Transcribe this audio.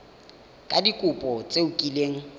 ka dikopo tse o kileng